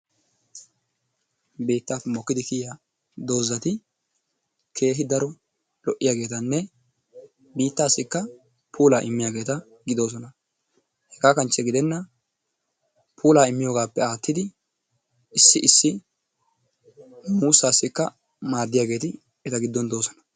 Biitaappe mokkidi kiyiya dozzati keehi daro lo'iyaageetanne biittaassikka puulaa immiyaageeta giddoosona, hegaa kanche gidenan puullaa immiyogaappe aattidi issi issi muusaasikka maadiyageeti eta giddon de'oososna.